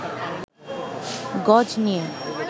গজ নিয়ে